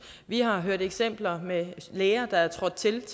vi har hørt eksempler med læger der er trådt til